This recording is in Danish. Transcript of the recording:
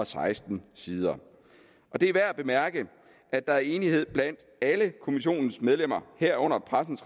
seksten sider det er værd at bemærke at der er enighed blandt alle kommissionens medlemmer herunder pressens